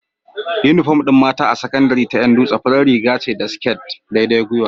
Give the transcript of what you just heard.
Inufom din mata a sakandari ta Yan dutse farar Riga ce da sket daidai gyiwa